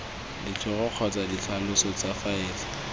ditlhogo kgotsa ditlhaloso tsa faele